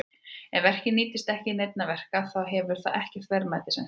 Ef verkfærið nýtist ekki til neinna verka þá hefur það ekkert verðmæti sem slíkt.